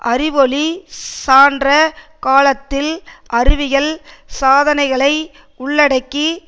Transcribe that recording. அறிவு ஓளி சான்ற காலத்தில் அறிவியல் சாதனைகளை உள்ளடக்கி